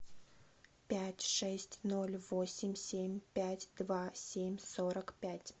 пять шесть ноль восемь семь пять два семь сорок пять